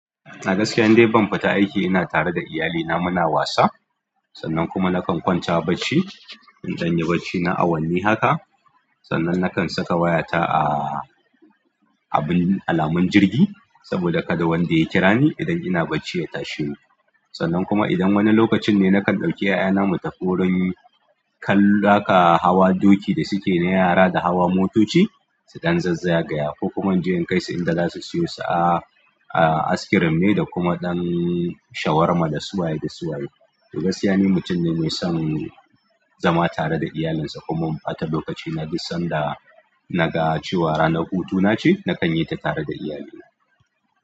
A gaskiya yanda ban fita aiki ina tare da iyalina muna wasa sannan kuma nakan kwanta bacci. Idan ya bacci na awanni haka sannan nakan saka wayata a abin alamun jirgi saboda kada wanda ya kira ni idan ina bacci ya tashi ni. Sannan kuma idan wani lokacin ne nakan ɗauki ƴaƴana mu tafi wurin kallon haka hawa doki da suke na yara da hawa motoci. Su ɗan zazzaga ya ko kuma je in kai su inda za su siyo su a askirim ne da kuma ɗan shawarma da su waye da su waye. To gaskiya ne mutum ne mai son zama tare da iyalinsa kuma in ɓata lokaci na dus sanda naga cewa ranar hutu nace nakan yi ta tare da iyalina.